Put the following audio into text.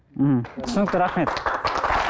мхм түсінікті рахмет